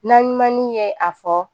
Naɲumanni ye a fɔ